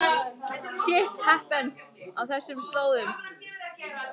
„Shit happens“ á þessum slóðum.